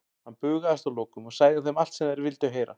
Hann bugaðist að lokum og sagði þeim allt sem þeir vildu heyra.